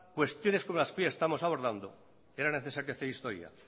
cuestiones como las que hoy estamos abordando era necesario hacer historia